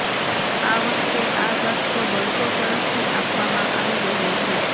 આ વખતે આ ઝાટકો બંકો તરફથી આપવામાં આવી રહ્યો છે